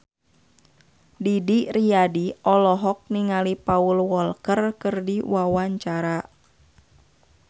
Didi Riyadi olohok ningali Paul Walker keur diwawancara